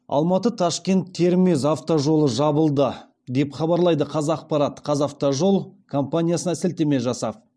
алматы ташкент термез автожолы жабылды деп хабарлайды қазақпарат қазавтожол компаниясына сілтеме жасап